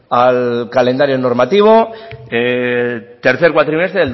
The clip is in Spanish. al calendario normativo tercer cuatrimestre